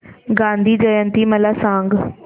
गांधी जयंती मला सांग